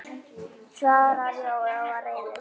svaraði Jói og var reiður.